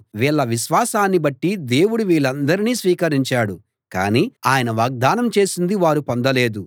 వీళ్ళ విశ్వాసాన్ని బట్టి దేవుడు వీళ్ళందరినీ స్వీకరించాడు కానీ ఆయన వాగ్దానం చేసింది వారు పొందలేదు